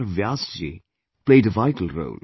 Vyas ji played a vital role